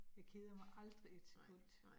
Jeg keder mig aldrig et sekund